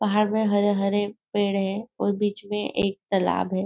पहाड़ में हरे हरे पेड़ हैं और बीच में एक तलाब है।